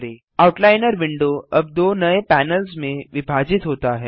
outliner window अब दो नये पैनल्स में विभाजित होता है